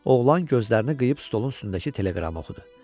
Oğlan gözlərini qıyıp stolun üstündəki teleqramı oxudu.